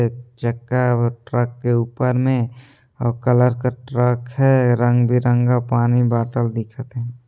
एक चक्का और ट्रक के ऊपर मे अऊ कलर का ट्रक है रंगबिरंगा पानी बाटल दिखत हे ।